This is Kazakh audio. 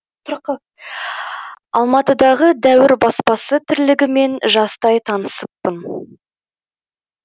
алматыдағы дәуір баспасы тірлігімен жастай танысыппын